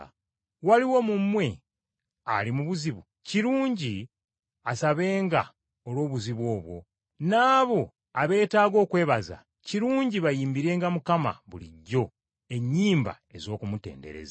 Waliwo mu mmwe ali mu buzibu? Kirungi asabenga olw’obuzibu obwo. N’abo abeetaaga okwebaza, kirungi bayimbirenga Mukama bulijjo ennyimba ez’okumutendereza.